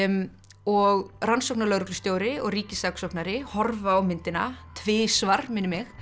og rannsóknarlögreglustjóri og ríkissaksóknari horfa á myndina tvisvar minnir mig